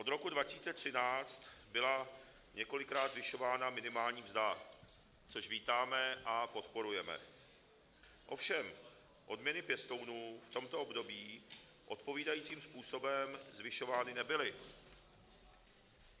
Od roku 2013 byla několikrát zvyšována minimální mzda, což vítáme a podporujeme, ovšem odměny pěstounů v tomto období odpovídajícím způsobem zvyšovány nebyly.